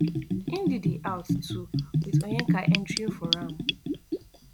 ndidi out too wit onyeka entering for am